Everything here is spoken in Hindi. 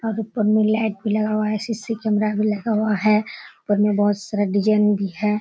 और ऊपर में लाइट भी लगा हुआ है। सी.सी. कैमरा भी लगा हुआ है। ऊपर में बहुत सारा डिजाइन भी है।